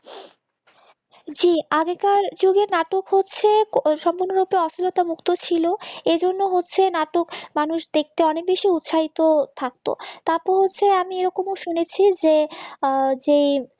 জি আগেকার যুগে নাটক হচ্ছে সম্পূর্ণভাবে অশ্লীলতা মুক্ত ছিল এইজন্য হচ্ছে নাটক মানুষ দেখতে অনেক বেশি উৎসাহিত থাকতো তারপর হচ্ছে আমি এরকমও শুনেছি যে যে